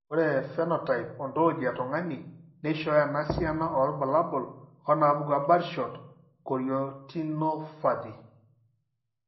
Ore ephenotype ontology etung'ani neishooyo enasiana oorbulabul onaapuku eBirdshot chorioretinopathy.